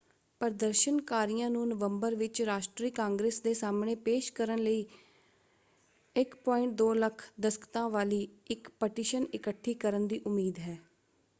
ਪ੍ਰਦਰਸ਼ਨਕਾਰੀਆਂ ਨੂੰ ਨਵੰਬਰ ਵਿੱਚ ਰਾਸ਼ਟਰੀ ਕਾਂਗਰਸ ਦੇ ਸਾਹਮਣੇ ਪੇਸ਼ ਕਰਨ ਲਈ 1.2 ਲੱਖ ਦਸਖ਼ਤਾਂ ਵਾਲੀ ਇੱਕ ਪਟੀਸ਼ਨ ਇਕੱਠੀ ਕਰਨ ਦੀ ਉਮੀਦ ਹੈ।